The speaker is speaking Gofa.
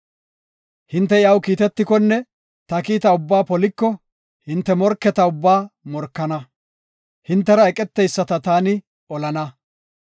Hinte iyaw kiitetikonne ta kiita ubbaa poliko, hinte morketa ubbaa morkana; hintera eqeteyisata taani olana.